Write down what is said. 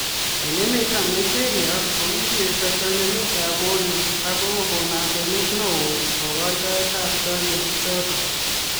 Eng emet ap Nigeria ko kikieshoo chanjanet ap Polio ak Kokon asenet neo eng kakoitoet ap janjo ichotok